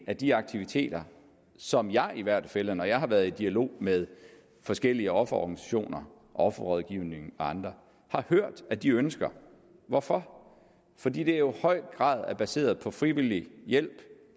af de aktiviteter som jeg i hvert fald når jeg har været i dialog med forskellige offerorganisationer offerrådgivning og andre har hørt at de ønsker hvorfor fordi det jo i høj grad er baseret på frivillig hjælp